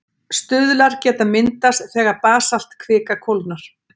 Stuðlar geta myndast þegar basaltkvika kólnar.